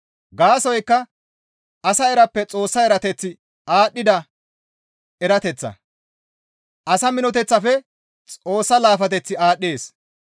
Gaasoykka asa erappe Xoossa eeyateththi aadhdhida erateththa; asa minoteththafe Xoossa laafateththi aadhdhees.